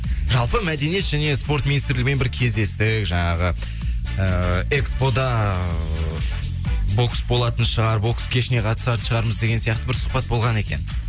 жалпы мәдениет және спорт министрлігімен бір кездестік жаңағы ыыы экспо да ыыы бокс болатын шығар бокс кешіне қатысатын шығармыз деген сияқты бір сұхбат болған екен